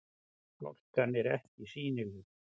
Hálkan er ekki sýnileg